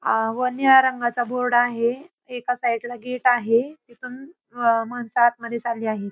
आ व निळ्या रंगाचा बोर्ड आहे एका साईडला गेट आहे तिथून अ माणस आतमध्ये चालली आहे.